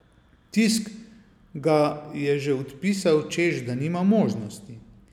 Tisk ga je že odpisal, češ da nima možnosti.